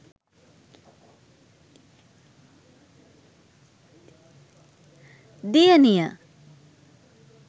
diyaniya